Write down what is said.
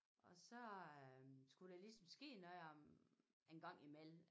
Og så øh skulle der ligesom ske noget om en gang imellem